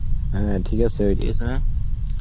হ্যা ঠিক আছে .